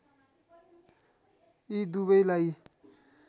यी दुवैलाई